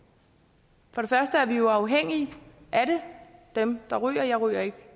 på det første er vi jo afhængige af det dem der ryger jeg ryger ikke